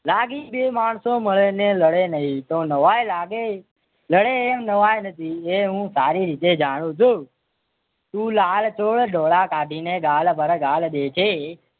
લાગીશ બે માણસો મળે ને લડે નહિ તો નવાઈ લાગે લડે એ નવાઈ નથી એ હું સારી રીતે જાણું છું. તું લાલચોળ ડોળા કાઢીને ગાડ પર ગાડ દેજે